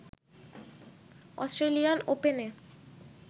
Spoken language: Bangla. অস্ট্রেলিয়ান ওপেনে